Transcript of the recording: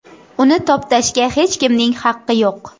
Uni toptashga hech kimning haqqi yo‘q.